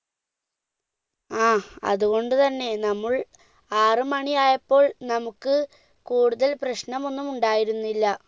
ആ അതുകൊണ്ട് തന്നെ നമ്മൾ ആറുമണിയായപ്പോൾ നമ്മുക്ക് കൂടുതൽ പ്രശ്നമൊന്നുമുണ്ടായിരുന്നില്ല